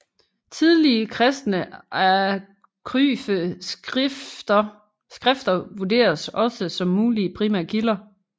Tidlige kristne apokryfe skrifter vurderes også som mulige primære kilder